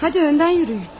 Hadi öndən yürüyün.